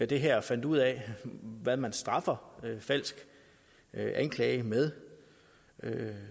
det her og fandt ud af hvad man straffer falsk anklage med